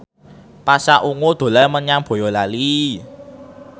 Pasha Ungu dolan menyang Boyolali